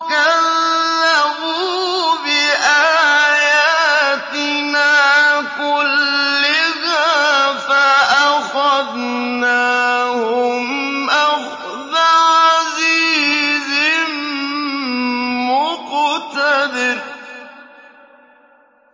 كَذَّبُوا بِآيَاتِنَا كُلِّهَا فَأَخَذْنَاهُمْ أَخْذَ عَزِيزٍ مُّقْتَدِرٍ